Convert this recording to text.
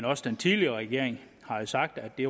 også den tidligere regering har sagt at det